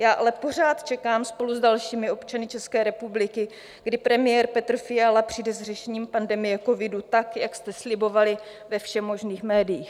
Já ale pořád čekám spolu s dalšími občany České republiky, kdy premiér Petr Fiala přijde s řešením pandemie covidu tak, jak jste slibovali ve všemožných médiích.